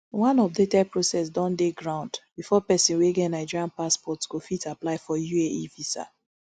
one updated process don dey ground before pesin wey get nigerian passport go fit apply for uae visa